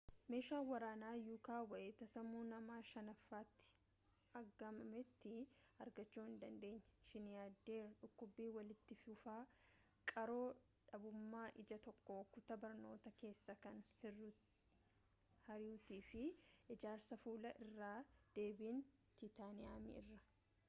meeshaan waraanaa yuukaa wayita sammuu nama shanaffaatti aggaamametti argachuu hin dandeenye shiinayideer dhukkubii walitti fufaa qaroo dhabumaa ija tokko kutaa barnoota keessa kan hir'atuu fi ijaarsaa fuula irraa deebiin tiitaniiyemii irraa